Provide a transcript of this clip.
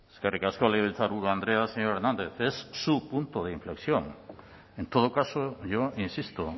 eskerrik asko legebiltzarburu andrea señor hernández es su punto de inflexión en todo caso yo insisto